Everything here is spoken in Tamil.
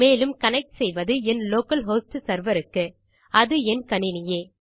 மேலும் கனெக்ட் செய்வது என் லோக்கல் ஹோஸ்ட் செர்வர் க்கு அது என் கணினியே